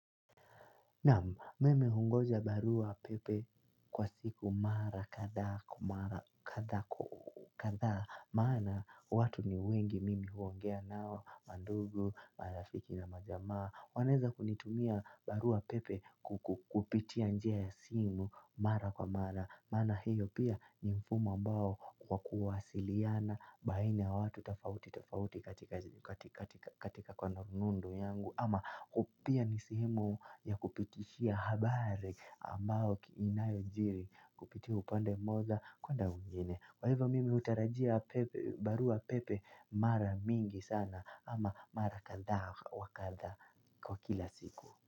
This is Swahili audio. Naam, mimi hungoja baruapepe, kwa siku mara kathaa kwa mara kathaa. Kathaa maana, watu ni wengi mimi huogea nao mandugu, marafiki na majamaa wanaeza kunitumia baruapepe. Kupitia njia ya simu, mara kwa mara maana hiyo pia, ni mfumo ambao, kwa kuwasiliana baina ya watu tafauti tafauti katika kwa runundu yangu, ama upia nisimu ya kupitishia habari. Ambao kinayo jiri kupitia upande moja kwenda kwingine kwa hivyo mimi hutarajia barua pepe mara mingi sana ama mara kadhaa wa kadha kwa kila siku.